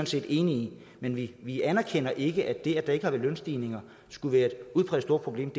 set enige i men vi vi anerkender ikke at det at der ikke har været lønstigninger skulle være et udpræget stort problem